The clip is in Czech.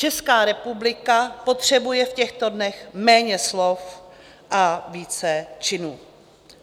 Česká republika potřebuje v těchto dnech méně slov a více činů.